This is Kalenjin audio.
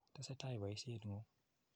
Tesetai poisyet ng'ung'.